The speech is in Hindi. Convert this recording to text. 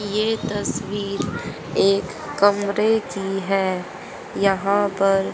ये तस्वीर एक कमरे की है यहां पर--